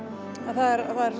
það er